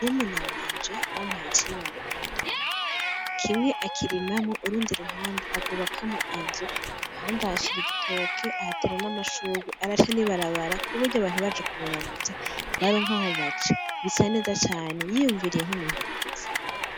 Murumuna wanje bamuhaye icibare mw'itongo , kimwe akirimamwo urundi ruhande arwubakamwo inzu ahandi ahashira igitoke ahatera namashurwe, araca n'ibarabara kuburyo abantu baje kumuramutsa baronka aho baca bisaneza cane yiyumviriye nk'umuntu akuze.